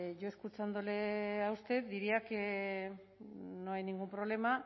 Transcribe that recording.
yo escuchándole a usted diría que no hay ningún problema